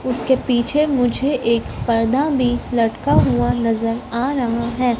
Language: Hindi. उसके पीछे मुझे एक पर्दा भी लटका हुआ नजर आ रहा है।